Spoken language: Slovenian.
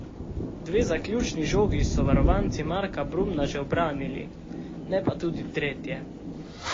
Dve zaključni žogi so varovanci Marka Brumna še ubranili, ne pa tudi tretje.